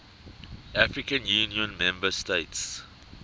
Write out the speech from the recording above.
african union member states